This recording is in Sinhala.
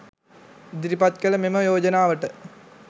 ඉදිරිපත් කළ මෙම යෝජනාවට